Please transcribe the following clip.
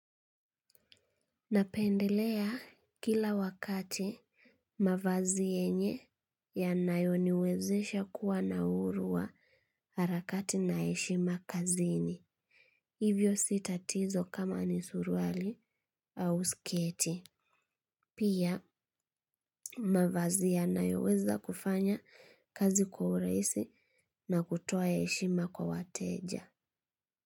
Napendelea kila wakati mavazi yenye ya nayoniwezesha kuwa na uuru wa harakati na heshima kazini. Hivyo si tatizo kama ni suruali au sketi. Pia mavazi yanayoweza kufanya kazi kwa uraisi na kutoa eshima kwa wateja.